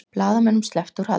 Blaðamönnum sleppt úr haldi